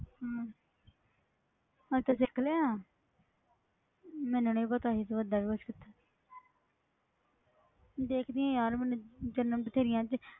ਹਮ ਅੱਛਾ ਸਿੱਖ ਲਿਆ ਮੈਨੂੰ ਨੀ ਪਤਾ ਸੀ ਤੂੰ ਏਦਾਂ ਵੀ ਕੁਛ ਕੀਤਾ ਦੇਖਦੀ ਹਾਂ ਯਾਰ ਮੈਨੂੰ